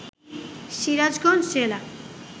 সিরাজগঞ্জ জেলা